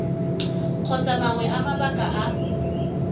kgotsa mangwe a mabaka a